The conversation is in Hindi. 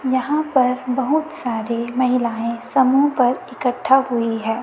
यहां पर बहुत सारे महिलाएं समूह पर इकठ्ठा हुई है।